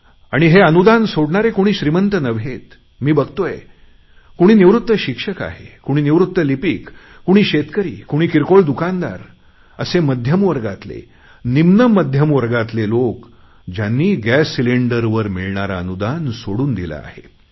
आणि हे अनुदान सोडणारे कुणी श्रीमंत निवृत्त लिपीक कुणी शेतकरी कुणी किरकोळ दुकानदार असे मध्यमवर्गातले निम्नमध्यम वर्गातले लोक ज्यांनी गॅस सिलेंडरवर मिळणारे अनुदान सोडून दिले आहे